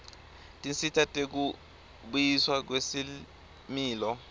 tinsita tekubuyiswa kwesimilo